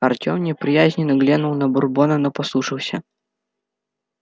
артём неприязненно глянул на бурбона но послушался